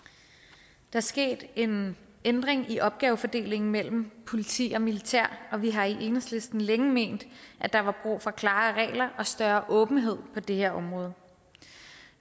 der er sket en ændring i opgavefordelingen mellem politi og militær og vi har i enhedslisten længe ment at der var brug for klarere regler og større åbenhed på det her område